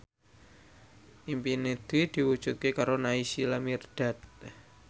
impine Dwi diwujudke karo Naysila Mirdad